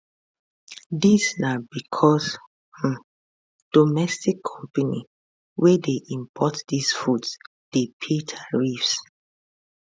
dis na becos um domestic company wey dey import di foods dey pay tariffs